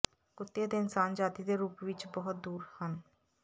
ਕੁੱਤੇ ਅਤੇ ਇਨਸਾਨ ਜਾਤੀ ਦੇ ਰੂਪ ਵਿੱਚ ਬਹੁਤ ਦੂਰ ਹਨ